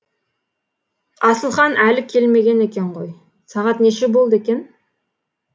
асылхан әлі келмеген екен ғой сағат неше болды екен